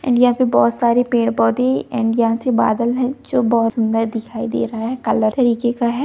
and यहाँ पे कई पेड़-पौधे बादल हैं जो बहुत सूंदर दिखाई दे रहे हैं | काले कलर का हैं |